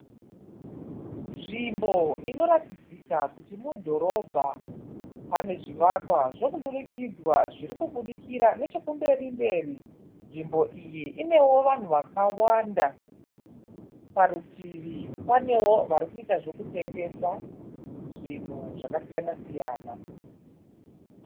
Nzvimbo inoratidzika kuti mudhorobha. Pane zvivakwa zvokudurikidzwa zviri kubudikira nechekumberi mberi. Nzvimbo iyi inewo vanhu vakawanda. Necheparutivi panewo vari kuita zvokutengesa zvinhu zvakasiyana siyana.